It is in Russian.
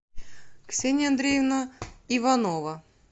ксения андреевна иванова